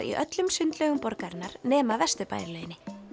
í öllum sundlaugum borgarinnar nema Vesturbæjarlauginni